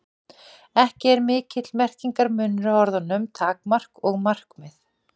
Ekki er mikill merkingarmunur á orðunum takmark og markmið.